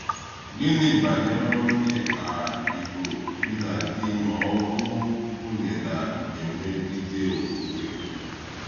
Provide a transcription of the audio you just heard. Gịnị banyere onye um Ìgbò bi na di ma ọ bụ nwunye na-emegide okwukwe?